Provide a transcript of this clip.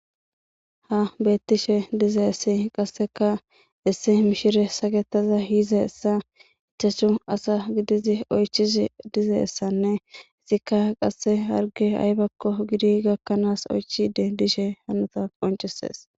Ha beettishe dize essi qasseka isse mishire saketaza hize essa ichashu asa gidizi oychizi dize essanne isikka qasse harge aybakko gidi gakkanaas oychide dishe hanota qoncesees.